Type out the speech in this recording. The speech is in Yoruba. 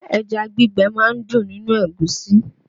Ẹja gbígbẹ máa ń dùn nínú ẹ̀gúsí